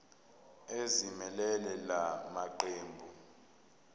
ezimelele la maqembu